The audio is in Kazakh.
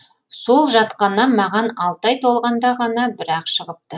сол жатқаннан маған алты ай толғанда ғана бір ақ шығыпты